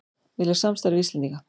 Vilja samstarf við Íslendinga